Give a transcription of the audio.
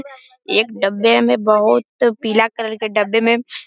एक डब्बे में बहुत पीला कलर के डब्बे में --